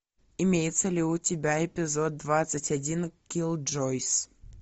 имеется ли у тебя эпизод двадцать один киллджойс